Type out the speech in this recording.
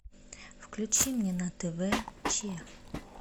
включи мне на тв че